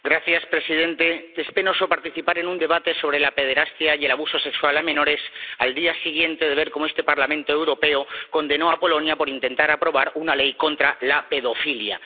Señor presidente, es penoso participar en un debate sobre la pederastia y el abuso sexual a menores al día siguiente de ver cómo este Parlamento Europeo condenó a Polonia por intentar aprobar una ley contra la pedofilia.